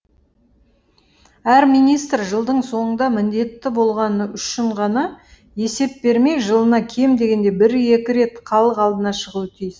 әр министр жылдың соңында міндетті болғаны үшін ғана есеп бермей жылына кем дегенде бір екі рет халық алдына шығуы тиіс